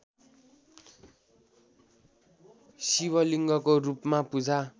शिवलिङ्गको रूपमा पूजा